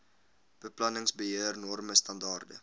beplanningsbeheer norme standaarde